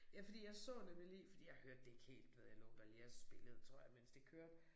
Ja fordi jeg så nemlig lige fordi jeg hørte det ikke helt du ved jeg lå da lige og spillede tror jeg mens det kørte